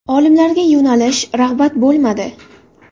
Olimlarga yo‘nalish, rag‘bat bo‘lmadi.